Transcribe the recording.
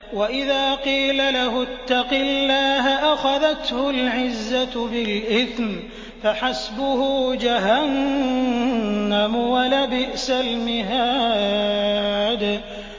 وَإِذَا قِيلَ لَهُ اتَّقِ اللَّهَ أَخَذَتْهُ الْعِزَّةُ بِالْإِثْمِ ۚ فَحَسْبُهُ جَهَنَّمُ ۚ وَلَبِئْسَ الْمِهَادُ